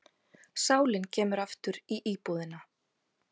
Sálin kemur aftur í íbúðina.